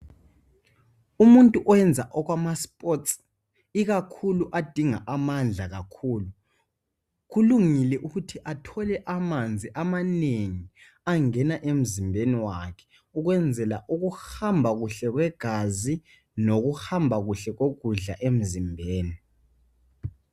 Umuntu owenza okwamasports ikakhulu adinga amandla kakhulu, kulungile ukuthi athole amanzi amanengi angena emzimbeni wakhe ukwenzela ukuhamba kuhle kwegazi lokuhamba kuhle kokudla emzimbeni.